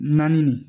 Naani nin